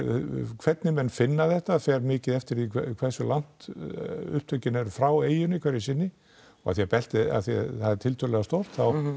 hvernig menn finna þetta fer mikið eftir því hversu langt upptökin eru frá eyjunni sinni af því beltið er tiltölulega stórt